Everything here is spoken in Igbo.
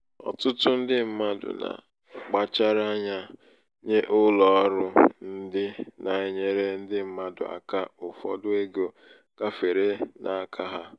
ọtụtụ ndị mmadụ na- akpachara ányá nye ụlọ ọrụ ndị nà -enyere ndị mmadụ aka ụfọdụ ego gafere n'aka ha.